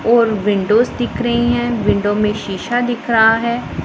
और विंडोज दिख रहे है विंडो में शिशा दिख रहा है।